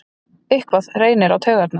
Eitthvað reynir á taugarnar